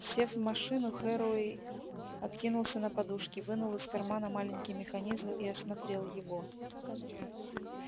сев в машину херроуэй откинулся на подушки вынул из кармана маленький механизм и осмотрел его